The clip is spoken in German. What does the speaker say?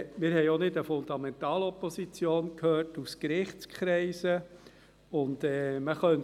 Wir haben auch keine Fundamentalopposition aus Gerichtskreisen vernommen.